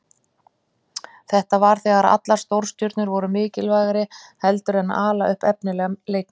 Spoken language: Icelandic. Þetta var þegar allar stórstjörnurnar voru mikilvægri heldur en að ala upp efnilega leikmenn.